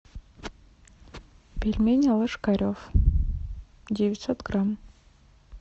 пельмени ложкарев девятьсот грамм